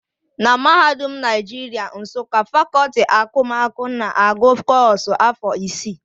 Na mahadum Naijiria Nsụka, fakọti akụmakụ na-agụ kọ́ọ̀sụ̀ afọ isii